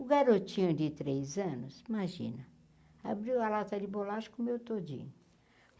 O garotinho de três anos, imagina, abriu a lata de bolacha comeu tudinho.